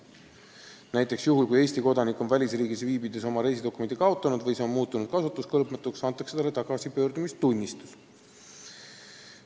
Näiteks juhul, kui Eesti kodanik on välisriigis viibides oma reisidokumendi kaotanud või see on muutunud kasutuskõlbmatuks, antakse talle tagasipöördumistunnistus.